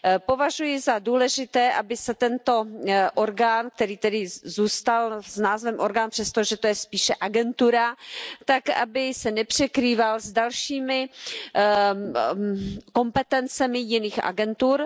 Považuji za důležité, aby se tento orgán, který zůstal s názvem orgán, přestože to je spíše agentura, nepřekrýval s dalšími kompetencemi jiných agentur.